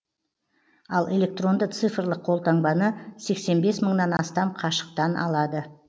ал электронды цифрлық колтаңбаны сексен бес мыңнан астам қашықтан алды